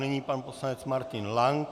Nyní pan poslanec Martin Lank.